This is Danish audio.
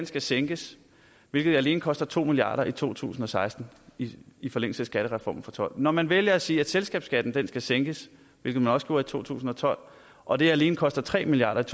skal sænkes hvilket alene koster to milliard kroner i to tusind og seksten i i forlængelse af skattereformen og tolv når man vælger at sige at selskabsskatten skal sænkes hvilket man også gjorde i to tusind og tolv og det alene koster tre milliard